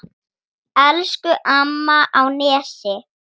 Elsku amma á Nesi.